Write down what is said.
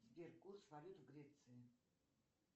сбер курс валют в греции